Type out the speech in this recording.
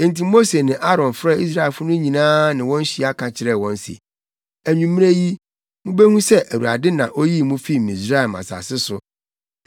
Enti Mose ne Aaron frɛɛ Israelfo no nyinaa ne wɔn hyia ka kyerɛɛ wɔn se, “Anwummere yi, mubehu sɛ Awurade na oyii mo fii Misraim asase so.